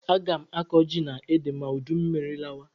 Aga m akọ ji na ede ma udummiri lawa